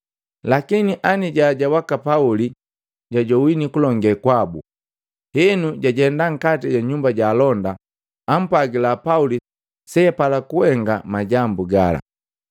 Lakini anijaja waka Pauli jwajowini kulonge kwabu, henu jajenda nkati ja nyumba ja alonda, apwagila Pauli seapala kuhenga majambu gala.